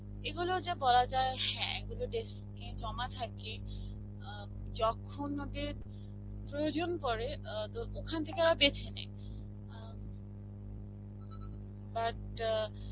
এগুলো যে বলা যায় হ্যাঁ এগুলো desk এ জমা থাকে. আ যখন ওদের প্রয়োজন পড়ে, আ তো ওখান থেকে ওরা বেছে নেয়. এম but অ্যাঁ